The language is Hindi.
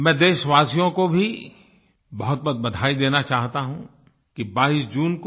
मैं देशवासियों को भी बहुतबहुत बधाई देना चाहता हूँ कि 22 जून को